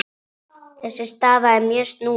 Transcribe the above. Þessi staða er mjög snúin.